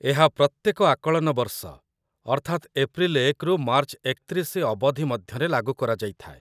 ଏହା ପ୍ରତ୍ୟେକ ଆକଳନ ବର୍ଷ, ଅର୍ଥାତ୍‌ ଏପ୍ରିଲ ୧ରୁ ମାର୍ଚ୍ଚ ୩୧ ଅବଧି ମଧ୍ୟରେ ଲାଗୁ କରାଯାଇଥାଏ |